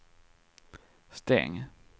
stäng